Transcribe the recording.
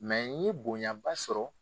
n ye bonyaba sɔrɔ.